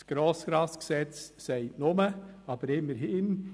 Das GRG sagt nur, aber immerhin: